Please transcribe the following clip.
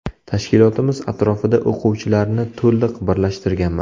Tashkilotimiz atrofida o‘quvchilarni to‘liq birlashtirganman.